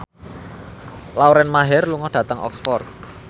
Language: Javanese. Lauren Maher lunga dhateng Oxford